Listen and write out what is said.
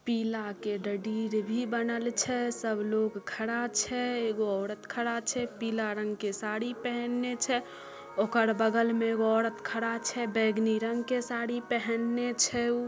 पीला के डडीर भी बनल छै सब लोग खड़ा छै एगो औरत खड़ा छै पीला रंग के साड़ी पहैनने छै ओकर बगल में एगो औरत खड़ा छै बैगनी रंग के साड़ी पहैनने छै उ--